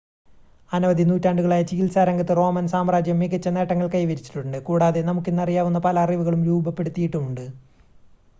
അനവധി നൂറ്റാണ്ടുകളായി ചികിത്സാരംഗത്ത് റോമൻ സാമ്രാജ്യം മികച്ച നേട്ടങ്ങൾ കൈവരിച്ചിട്ടുണ്ട് കൂടാതെ നമുക്കിന്നറിയാവുന്ന പല അറിവുകളും രൂപപ്പെടുത്തിയിട്ടുമുണ്ട്